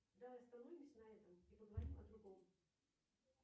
давай остановимся на этом и поговорим о другом